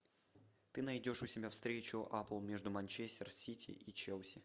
ты найдешь у себя встречу апл между манчестер сити и челси